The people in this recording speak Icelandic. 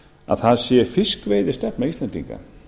að það sé fiskveiðistefna íslendinga